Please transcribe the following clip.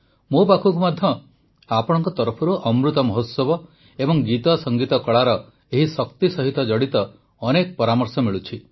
ମୋ ପାଖକୁ ମଧ୍ୟ ଆପଣଙ୍କ ତରଫରୁ ଅମୃତ ମହୋତ୍ସବ ଏବଂ ଗୀତସଙ୍ଗୀତକଳାର ଏହି ଶକ୍ତି ସହିତ ଜଡ଼ିତ ଅନେକ ପରାମର୍ଶ ମିଳୁଛି